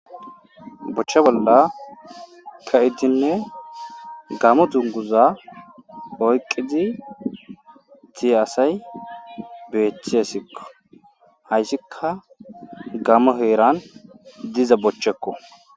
bochche bolla ka7idinne gamo dunguza oyqqidi tie asay beeththiessikko hayssika gamo heeran diza bochchekko